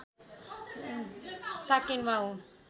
साकेन्वा हो